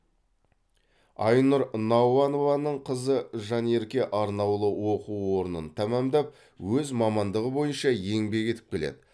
айнұр науанованың қызы жанерке арнаулы оқу орнын тәмамдап өз мамандығы бойынша еңбек етіп келеді